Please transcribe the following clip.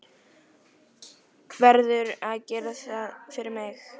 Verður að gera það fyrir mig.